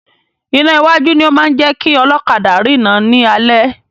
Iná iwájú ni o máa ń jẹ́ kí ọlọ́kadà rina ni alẹ́.